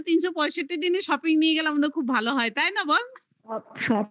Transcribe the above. তিনশো পঁয়ষট্টি দিনে shopping নিয়ে গেলে আমাদের খুব ভালো হয়. তাই না বল?